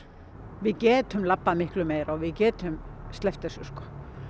við getum labbað miklu meira og við getum sleppt þessu sko